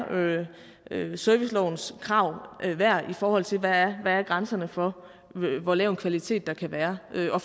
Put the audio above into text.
servicelovens krav værd i forhold til hvad grænserne for hvor lav en kvalitet der kan være er